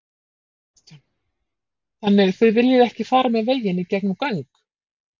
Kristján: Þannig þið viljið ekki fara með veginn í gegnum göng?